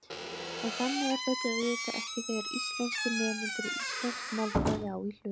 En þannig er þetta auðvitað ekki þegar íslenskir nemendur og íslensk málfræði á í hlut.